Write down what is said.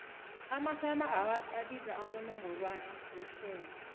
amasummer awards abizwa abowongorwana behlobo